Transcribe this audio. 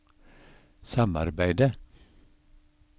samarbeidet